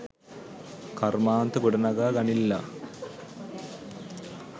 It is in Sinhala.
කර්මාන්ත ගොඩනගා ගනිල්ලා.